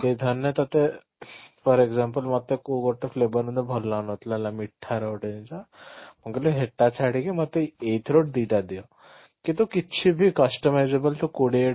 ଧରି ନେ ତୋତେ for example ମୋତେ କୋଉ ଗୋଟେ flavor ଏମିତି ଗୋଟେ ମୋତେ ଭଲ ଲାଗୁନଥିଲା ହେଲା ମିଠାର ଗୋଟେ ଜିନିଷ ମୁଁ କହିଲି ହେଟା ଛାଡିକି ମୋତେ ଏଇଥିରୁ ଦିଟା ଦିଅ କିନ୍ତୁ କିଛି ବି customizable ତ କୋଡିଏଟା